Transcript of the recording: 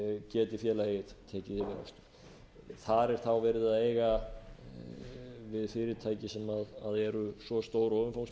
geti félagið tekið yfir rekturinn þar er þá verið að eiga við fyrirtæki sem eru svo stór og